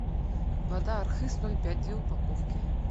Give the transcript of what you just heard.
вода архыз ноль пять две упаковки